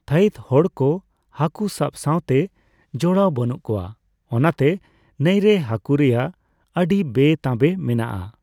ᱛᱷᱟᱭᱤᱛ ᱦᱚᱲ ᱠᱚ ᱦᱟᱠᱳ ᱥᱟᱵ ᱥᱟᱣᱛᱮ ᱡᱚᱲᱟᱣ ᱵᱟᱹᱱᱩᱜ ᱠᱳᱣᱟ, ᱚᱱᱟᱛᱮ ᱱᱟᱹᱭᱨᱮ ᱦᱟᱠᱳ ᱨᱮᱭᱟᱜ ᱟᱹᱰᱤ ᱵᱮᱼᱛᱟᱵᱮ ᱢᱮᱱᱟᱜᱼᱟ ᱾